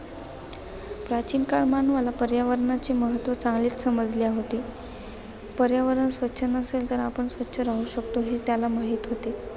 प्राचीन काळ मानवाला पर्यावणाचे महत्त्व चांगलेच समजले होते. पर्यावरण स्वच्छ नसेल तर आपण स्वच्छ राहू शकतो, हे त्याला माहित होते